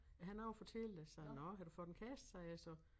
Jeg har noget at fortælle dig sagde han nåh har du fået en kæreste sagde jeg så